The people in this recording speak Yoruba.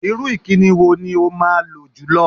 Irú ìkíni wo ni o máa lò jùlọ?